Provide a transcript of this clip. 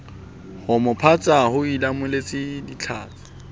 homo phatsa o ileammeha ditlhakatse